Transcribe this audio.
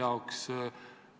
Aitäh küsimuse eest!